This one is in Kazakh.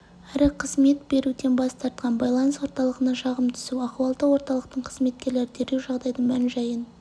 әрі қызмет беруден бас тартқан байланыс орталығына шағым түсіп ахуалдық орталықтың қызметкерлері дереу жағдайдың мән-жайын